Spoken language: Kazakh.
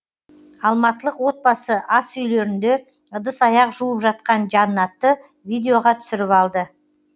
алматылық отбасы асүйлерінде ыдыс аяқ жуып жатқан жанатты видеоға түсіріп алды